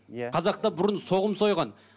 иә қазақта бұрын соғым сойған